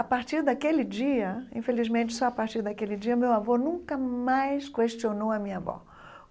A partir daquele dia, infelizmente, só a partir daquele dia, meu avô nunca mais questionou a minha avó.